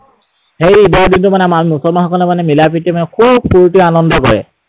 সেই ঈদৰ দিনটোত মানে মুছলমান সকলে মানে মিলাপ্ৰীতিৰে মানে খুব স্‌ফুৰ্তি আনন্দ কৰে।